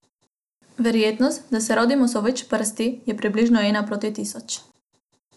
Verjetnost, da se rodimo z več prsti, je približno ena proti tisoč.